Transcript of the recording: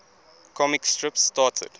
comic strips started